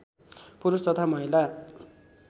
पुरुष तथा महिला